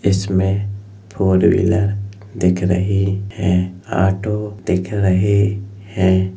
इसमें four wheeler दिख रही हैं। ऑटो दिख रहे हैं।